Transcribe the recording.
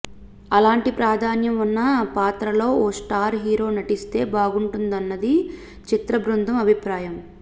అలాంటి ప్రాధాన్యం ఉన్న పాత్రలో ఓ స్టార్ హీరో నటిస్తే బాగుంటుందన్నది చిత్రబృందం అభిప్రాయం